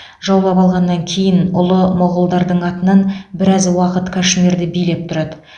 жаулап алғаннан кейін ұлы моғолдардың атынан біраз уақыт кашмирді билеп тұрады